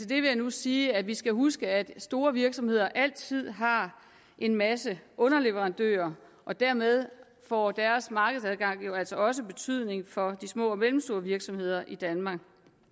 det vil jeg nu sige at vi skal huske at store virksomheder altid har en masse underleverandører og dermed får deres markedsadgang jo altså også betydning for de små og mellemstore virksomheder i danmark